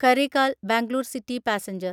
Karaikal Bangalore city passenger